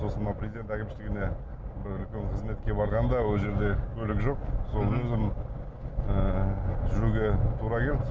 сосын мына президент әкімшілігіне бір үлкен қызметке барғанда ол жерде көлік жоқ өзім ыыы жүруге тура келді